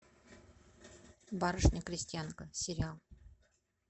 барышня крестьянка сериал